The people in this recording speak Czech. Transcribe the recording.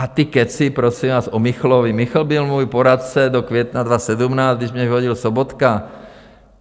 A ty kecy, prosím vás, o Michlovi - Michl byl můj poradce do května 2017, když mě vyhodil Sobotka.